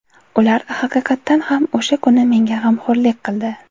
Ular haqiqatan ham o‘sha kuni menga g‘amxo‘rlik qildi.